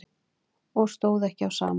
Og stóð ekki á sama um.